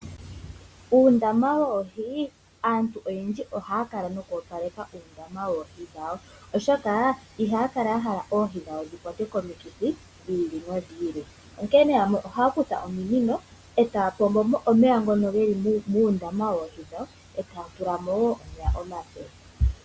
Uundama woohi Aantu oyendji ohaya kala noku opaleka uundama woohi dhawo , oshoka ihaya kala ya hala oohi dhawo dhi kwatwe komikithi dhi ili nodhi ili. Yamwe ohaya kutha ominino e taya pombomo omeya ngoka ge li muundaama woohi dhawo e taya tula mo omeya omape.